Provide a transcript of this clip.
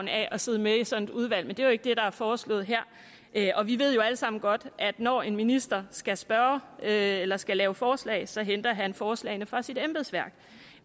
af at sidde med i sådan et udvalg men det er jo ikke det der er foreslået her her og vi ved jo alle sammen godt at når en minister skal spørge eller skal lave forslag så henter han forslagene fra sit embedsværk